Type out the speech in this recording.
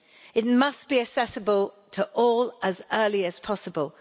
It must be accessible to all as early as possible.